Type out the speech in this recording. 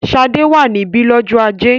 Ṣadé wà níbí lọ́jọ́ ajé?